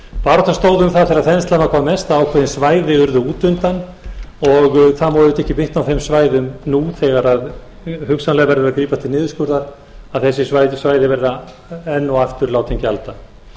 baráttan stóð um það þegar þenslan var hvað mest að ákveðin svæði urðu útundan og það má auðvitað ekki bitna á þeim svæðum nú þegar hugsanlega verður gripið til niðurskurðar að þessi svæði verði enn og aftur látin gjalda